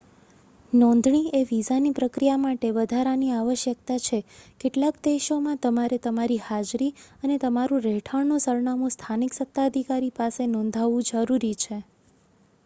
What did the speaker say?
નોંધણી એ વિઝાની પ્રક્રિયા માટે વધારાની આવશ્યકતા છે કેટલાક દેશોમાં તમારે તમારી હાજરી અને તમારું રહેઠાણનું સરનામું સ્થાનિક સત્તાધિકારી પાસે નોંધાવવું જરૂરી છે